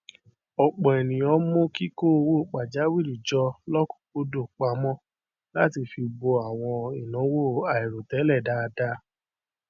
ọpọ ènìyàn mú kíkó owó pàjáwìrì jọ lọkúńkúńdùn pamọ láti fi bo àwọn ináwó àìròtẹlẹ dáadáa